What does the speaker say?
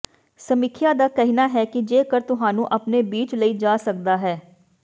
ਸਮੀਖਿਆ ਦਾ ਕਹਿਣਾ ਹੈ ਕਿ ਜੇਕਰ ਤੁਹਾਨੂੰ ਆਪਣੇ ਬੀਚ ਲਈ ਜਾ ਸਕਦਾ ਹੈ